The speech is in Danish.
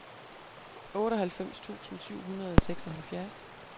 otteoghalvfems tusind syv hundrede og seksoghalvfjerds